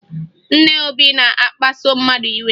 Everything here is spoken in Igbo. Nne Obi na-akpaso mmadụ iwe